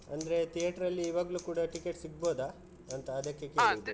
ಅಂದ್ರೆ theater ಲ್ಲಿ ಇವಾಗ್ಲೂ ಕೂಡ ticket ಸಿಗ್ಬಹುದಾ ಅಂತ ಅದಕ್ಕೆ ಕೇಳಿದ್ದು?